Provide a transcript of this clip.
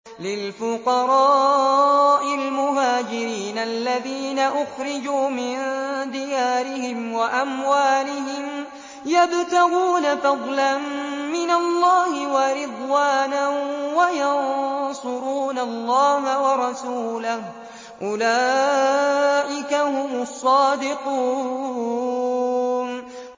لِلْفُقَرَاءِ الْمُهَاجِرِينَ الَّذِينَ أُخْرِجُوا مِن دِيَارِهِمْ وَأَمْوَالِهِمْ يَبْتَغُونَ فَضْلًا مِّنَ اللَّهِ وَرِضْوَانًا وَيَنصُرُونَ اللَّهَ وَرَسُولَهُ ۚ أُولَٰئِكَ هُمُ الصَّادِقُونَ